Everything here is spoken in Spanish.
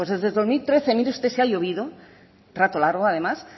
pues desde dos mil trece mire usted si ha llovido rato largo además